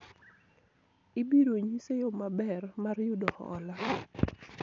ibiro nyise yo maber mar yudo hola